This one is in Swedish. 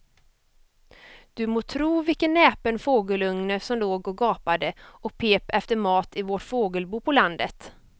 Du må tro vilken näpen fågelunge som låg och gapade och pep efter mat i vårt fågelbo på landet.